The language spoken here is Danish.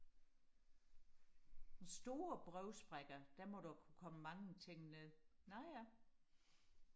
med store brevsprækker der må der kunne komme mange ting ned nå ja